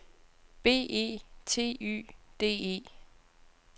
B E T Y D E